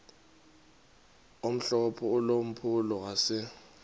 omhlophe ulampulo wase